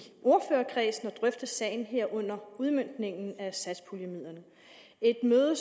ordførerkredsen skal drøfte sagen herunder udmøntningen af satspuljemidlerne et møde